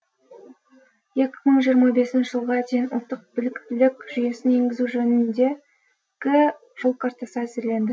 екі мың жиырма бесінші жылға дейін ұлттық біліктілік жүйесін енгізу жөнінде гі жол картасы әзірленді